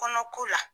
Kɔnɔ ko la